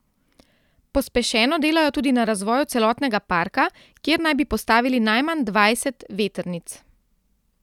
Pospešeno delajo tudi na razvoju celotnega parka, kjer naj bi postavili najmanj dvajset vetrnic.